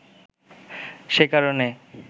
সে কারণে